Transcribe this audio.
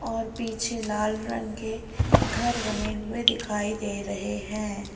और पीछे लाल रंग के घर बने हुए दिखाई दे रहे हैं।